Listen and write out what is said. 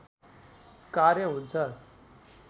कार्य हुन्छ